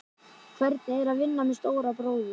Hvernig er að vinna með stóra bróður?